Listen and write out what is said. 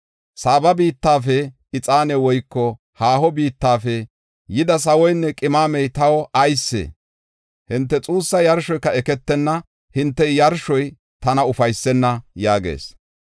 Saaba biittafe ixaani woyko haaho biittafe yida sawoynne qimamey taw aysee? Hinte xuussa yarshoyka eketenna. Hinte yarshoy tana ufaysenna” yaagees.